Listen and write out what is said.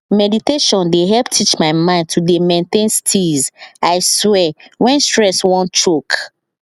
meditation dey help teach my mind to dey maintain steeze i swear when stress wan choke